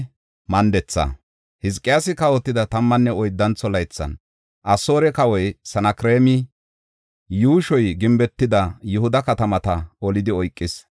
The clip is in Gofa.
Hizqiyaasi kawotida tammanne oyddantho laythan, Asoore kawoy Sanakreemi yuushoy gimbetida Yihuda katamata olidi oykis.